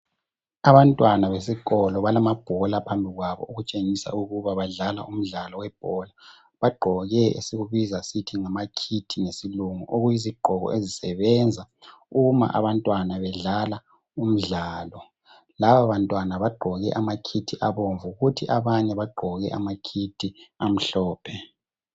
Abantwana besikolo balamabhola phambikwabo . Okutshengisa ukuba badlala umdlalo webhola ,bagqoke esikubiza sithi ngamakit ngesilungu .Okuyizigqoko ezisebenza uma abantwana bedlala umdlalo ,laba bantwana bagqoke amakit abomvu kuthi abanye bagqoke ama kit amhlophe.